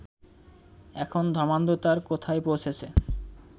এখন ধর্মান্ধতার কোথায় পৌঁছেছে